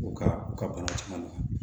U ka u ka bana caman na